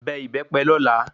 Bẹ ìbépe lola